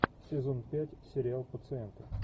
сезон пять сериал пациенты